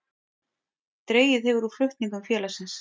Dregið hefur úr flutningum félagsins